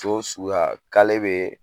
So suguya k'ale bɛ